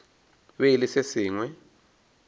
be e le se sengwe